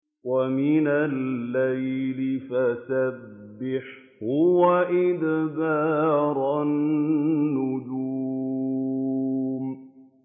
وَمِنَ اللَّيْلِ فَسَبِّحْهُ وَإِدْبَارَ النُّجُومِ